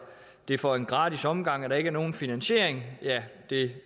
det for en gratis omgang og der ikke er nogen finansiering ja det